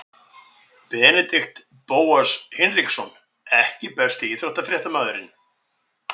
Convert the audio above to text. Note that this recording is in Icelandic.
Benedikt Bóas Hinriksson EKKI besti íþróttafréttamaðurinn?